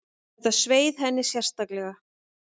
Þetta sveið henni sérstaklega.